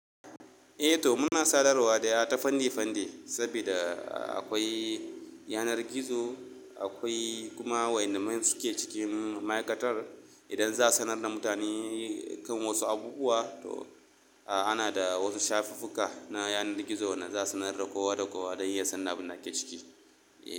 Eh to muna sadarwa day ta feni feni, saboda akwai yanar gizo, akwai kuma waɗanda suke cikin ma'aikatar idan za su sanar da mutane kan wasu abubuwa, to ana da wasu shafukuka na yanar gizo da za su sanar da kowa da kowa don ya sanin abin da yake ciki.